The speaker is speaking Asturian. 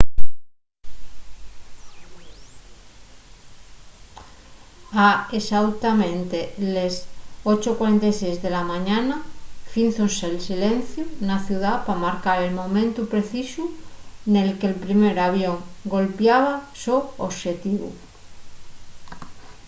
a exautamente les 8:46 de la mañana fízose’l silenciu na ciudá pa marcar el momentu precisu nel que’l primer avión golpiaba’l so oxetivu